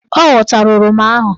Ọ ghọtara oroma ahụ.